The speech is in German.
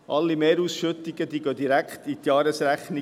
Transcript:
Alle Mehrausschüttungen gehen direkt in die Jahresrechnung.